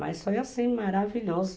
Mas foi assim, maravilhoso.